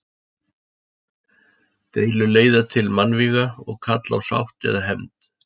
Deilur leiða til mannvíga og kalla á sátt eða hefnd.